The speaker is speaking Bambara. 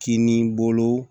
Kinibolo